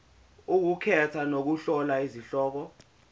ukukhetha nokuhlola izihloko